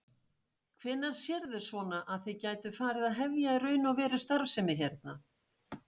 Hvenær sérðu svona að þið gætuð farið að hefja í raun og veru starfsemi hérna?